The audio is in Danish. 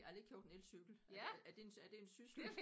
Jeg har lige købt en elcykel er er det er det en syssel?